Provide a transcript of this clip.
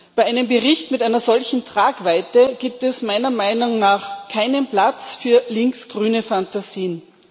Bei einem Bericht mit einer solchen Tragweite gibt es meiner Meinung nach keinen Platz für links grüne Phantasien.